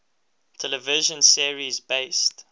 television series based